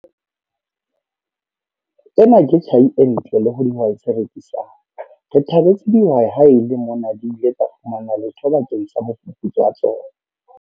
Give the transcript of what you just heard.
Ena ke tjhai e ntle le ho dihwai tse rekisang! Re thabetse dihwai ha e le mona di ile tsa fumana letho bakeng sa mofufutso wa tsona.